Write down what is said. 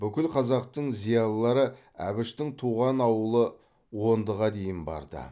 бүкіл қазақтың зиялылары әбіштің туған ауылы ондыға дейін барды